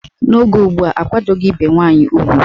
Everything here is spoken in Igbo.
N'oge ugbua, akwadoghi ibe nwaanyị ugwu.